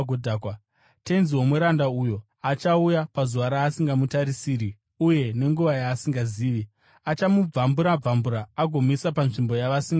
Tenzi womuranda uyo achauya pazuva raasingamutarisiri uye nenguva yaasingazivi. Achamubvambura-bvambura, agomuisa panzvimbo yavasingatendi.